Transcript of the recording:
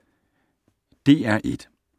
DR1